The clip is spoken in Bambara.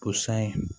O san ye